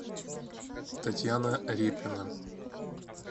татьяна репина